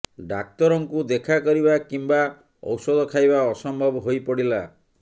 ଡାକ୍ତରଙ୍କୁ ଦେଖା କରିବା କିମ୍ବା ଔଷଧ ଖାଇବା ଅସମ୍ଭବ ହୋଇ ପଡିଲା